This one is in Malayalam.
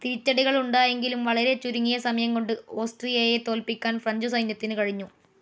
തിരിച്ചടികൾ ഉണ്ടായെങ്കിലും വളരെ ചുരുങ്ങിയ സമയം കൊണ്ട് ഓസ്ട്രിയയെ തോല്പിക്കാൻ ഫ്രഞ്ച്‌ സൈന്യത്തിനു കഴിഞ്ഞു.